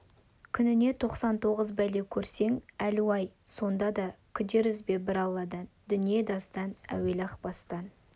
күніне тоқсан тоғыз бәле көрсең әлу-ай сонда да күдер үзбе бір алладан дүние дастан әуелі-ақ бастан